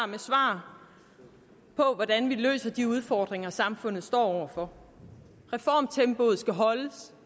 med svar på hvordan man løser de udfordringer samfundet står over for reformtempoet skal holdes